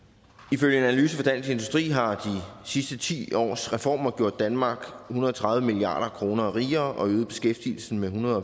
ifølge en analyse fra dansk industri har de sidste ti års reformer gjort danmark hundrede og tredive milliard kroner rigere og øget beskæftigelsen med ethundrede